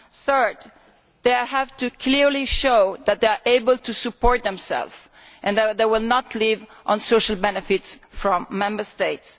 They will also have to clearly show that they are able to support themselves and that they will not live on social benefits from Member States.